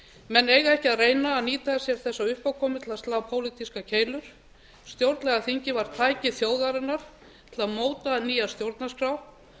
menn eiga ekki að reyna að nýta sér þessa uppákomu til að slá pólitískar keilur stjórnlagaþingið var tæki þjóðarinnar til að móta nýja stjórnarskrá